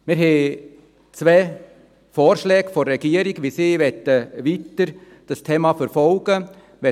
Wir haben zwei Vorschläge der Regierung, wie diese das Thema weiterverfolgen will.